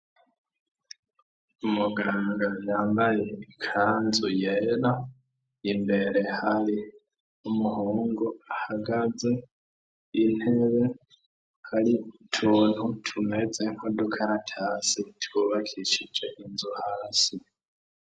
Umuganga yambaye ikanzu yera imbere hari umuhungu ahagaze intebe hari utuntu tumeze ko dukaratase tubakishije inzu hasi.